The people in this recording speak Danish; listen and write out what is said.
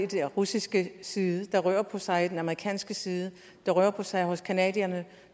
den russiske side det rører på sig på den amerikanske side det rører på sig hos canadierne